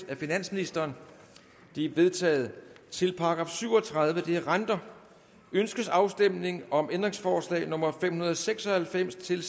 af finansministeren de er vedtaget til § syv og tredive renter ønskes afstemning om ændringsforslag nummer fem hundrede og seks og halvfems til